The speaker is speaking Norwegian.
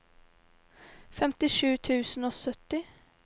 femtisju tusen og sytti